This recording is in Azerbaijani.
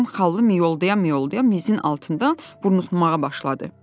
Birdən xallı mıyolda-mıyolda mizin altından burnuşmağa başladı.